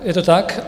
Ano, je to tak.